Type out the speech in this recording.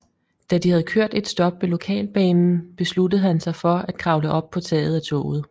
Da de havde kørt et stop med lokalbanen besluttede han sig for at kravle op på taget af toget